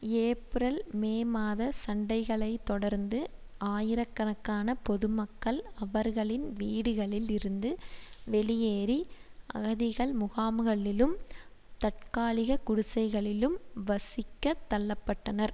ஏப்பிரல் May மாத சண்டைகளைத் தொடர்ந்து ஆயிரக்கணக்கான பொது மக்கள் அவர்களின் வீடுகளில் இருந்து வெளியேறி அகதிகள் முகாம்களிலும் தற்காலிகக் குடிசைகளிலும் வசிக்கத் தள்ள பட்டனர்